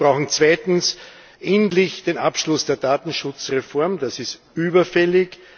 Wir brauchen zweitens endlich den Abschluss der Datenschutzreform das ist überfällig.